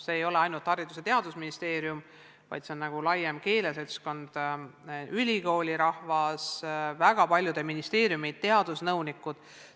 Ei ole ainult Haridus- ja Teadusministeerium, vaid kogu laiem keeleseltskond, ülikoolirahvas, väga paljude ministeeriumide teadusnõunikud.